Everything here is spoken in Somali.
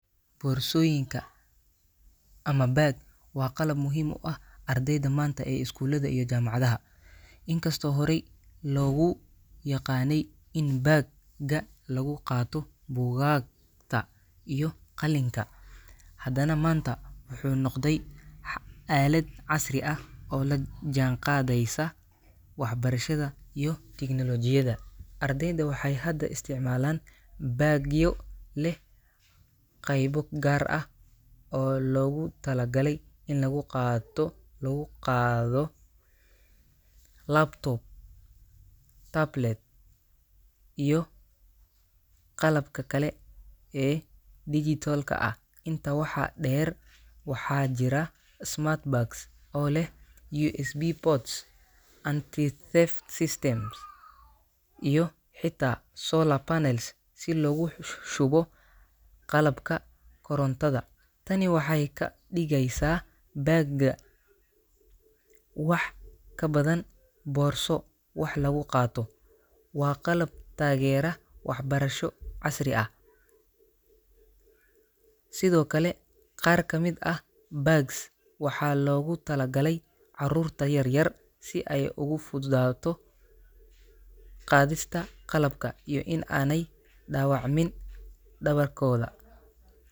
Boorsooyinka ama bag waa qalab muhiim u ah ardayda maanta ee iskuulada iyo jaamacadaha. Inkastoo horey loogu yaqaanay in bag-ga lagu qaado buugaagta iyo qalinka, haddana maanta wuxuu noqday aalad casri ah oo la jaanqaadaysa waxbarashada iyo tignoolajiyada. Ardayda waxay hadda isticmaalaan bag-yo leh qaybo gaar ah oo loogu talagalay in lagu qaato lagu qaado laptop, tablet, iyo qalabka kale ee dijitaalka ah. Intaa waxaa dheer, waxaa jira smart bags oo leh USB ports, anti-theft systems, iyo xitaa solar panels si loogu shubo qalabka korontada. Tani waxay ka dhigaysaa bag-ga wax ka badan boorso wax lagu qaato; waa qalab taageera waxbarasho casri ah. Sidoo kale, qaar ka mid ah bags waxaa loogu talagalay carruurta yar yar si ay ugu fududaato qaadista qalabka iyo in aanay dhaawacmin dhabarkooda.